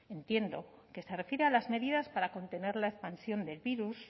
entiendo que se refiere a las medidas para contener la expansión del virus